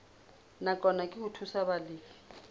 nakwana ke ho thusa balefi